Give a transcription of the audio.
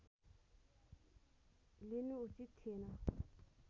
लिनु उचित थिएन